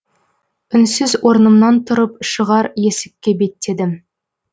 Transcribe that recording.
үнсіз орнымнан тұрып шығар есікке беттедім